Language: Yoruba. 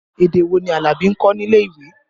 Èdè wò ni Alabi ń kọ́ nílé ìwé?